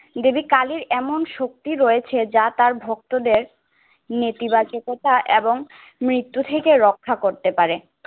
দেবী কালির এমন শক্তি রয়েছে যা তার ভক্তদের নেতিবাচকতা এবং মৃত্যু থেকে রক্ষা করতে পারে।